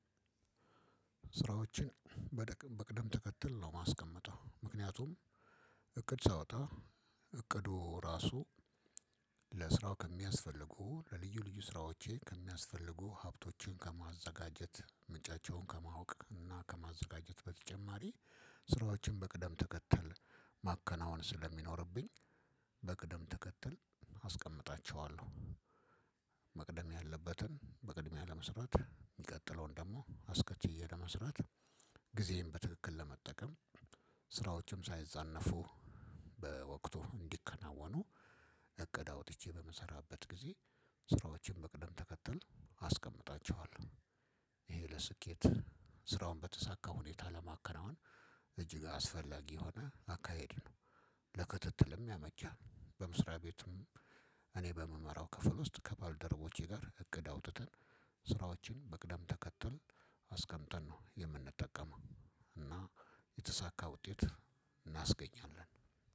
ስራዎችን በቅደም ተከትል ነው የማስቀምጠው ምክንያቱም እቅድ ሳወጣ እቅዱ ራሱ ለስራው ከሚያስፈልጉ ለልዩ ልዩ ስራዎቼ ከሚያስፈልጉ ሀብቶችን ከማዘጋጀት ምንጫቸውን ከማወቅ እና ከማዘጋጀት በተጨማሪ ስራዎችን በቅደም ተከተል ማከናወን ስለሚኖርብኝ በቅደም ተከተል አስቀምጣቸዋለሁ። መቅደም ያለበትን በቅድሚያ ለመስራት የሚቀጥለውን ደግሞ አስቀጥዬ ለመስራት ጊዜየን በትክክል ለመጠቀም። ስራዎችም ሳይዛነፉ በወቅቱ እንዲከናወኑ እቅድ አውጥቼ በምሰራበት ጊዜ ስራዎችን በቅደም ተከተል አስቀምጣቸዋለሁ ይሄ ለስኬት ስራውን በተሳካ ሁኔታ ለማከናወን እጅግ አስፈላጊ የሆነ አካሄድ ነው። ለክትትልም ያመቻል። በመስሪያ ቤቱም እኔ በምመራው ክፍል ውስጥ ከባልደረቦቼ ጋር እቅድ አውጥተን ስራዎችን በቅደም ተከተል አስቀምጠን ነው የምንጠቀመው። እና የተሳካ ውጤት እናስገኛለን።